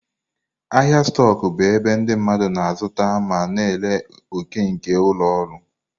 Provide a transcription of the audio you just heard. Ahịa stoku bụ ebe ndị mmadụ na-azụta ma na-ere òkè nke ụlọ ọrụ.